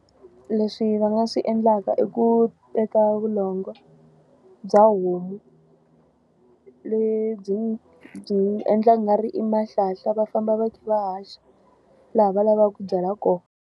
Leswi va nga swi endlaka i ku teka vulongo bya homu, lebyi byi endlaka ungari i mahlanhla va famba va kha va haxa laha va lavaka ku byala kona.